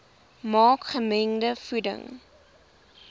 maak gemengde voeding